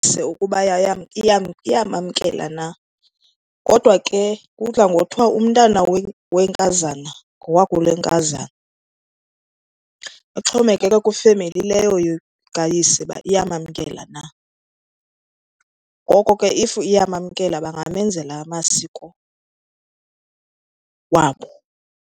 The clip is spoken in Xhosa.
ukuba iyamamkela na, kodwa ke kudla ngothiwa umntana wenkazana ngowakulenkazana. Ixhomekeke kwifemeli leyo kayise uba iyamamkela na. Ngoko ke if iyamamkela bangamenzela amasiko wabo.